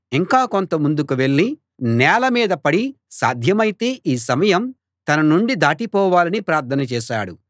ఇంకా కొంత ముందుకు వెళ్ళి నేల మీద పడి సాధ్యమైతే ఈ సమయం తన నుండి దాటిపోవాలని ప్రార్థన చేశాడు